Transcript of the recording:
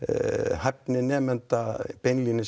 hæfni nemenda